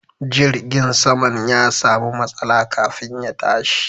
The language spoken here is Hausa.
Jirgin saman ya samu matsala kafin ya tashi.